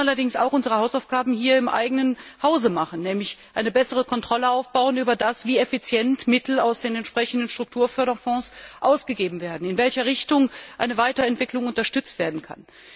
Wir müssen allerdings auch unsere Hausaufgaben hier im eigenen Hause machen, nämlich dafür sorgen, dass besser kontrolliert werden kann, wie effizient Mittel aus den entsprechenden Strukturförderfonds ausgegeben werden und in welche Richtung eine Weiterentwicklung unterstützt werden kann.